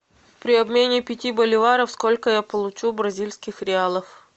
при обмене пяти боливаров сколько я получу бразильских реалов